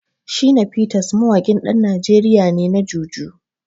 Shina Peters mawaƙin ɗan Najeriya ne na Jùjú.